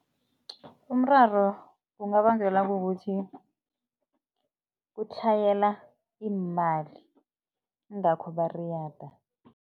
Umraro ungabangelwa kukuthi kutlhayela iimali ingakho bariyada.